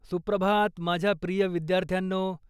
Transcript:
सुप्रभात, माझ्या प्रिय विद्यार्थ्यांनो.